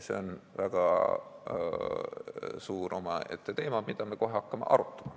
See on väga lai omaette teema, mida me kohe hakkame ka arutama.